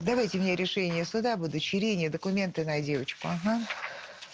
давайте мне решение суда об удочерении документы на девочку ага